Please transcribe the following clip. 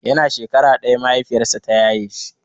Yana shekara ɗaya mahaifiyarsa ta yaye shi.